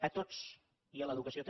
a tots i a l’educació també